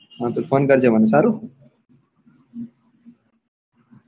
એ phone કરજે મને સારું.